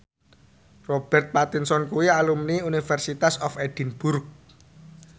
Robert Pattinson kuwi alumni University of Edinburgh